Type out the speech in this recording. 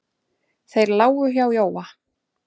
Þeir lágu hjá Jóa.